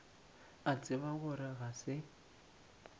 a tseba gore ga se